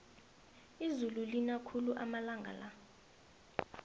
izulu lina khulu amalanga la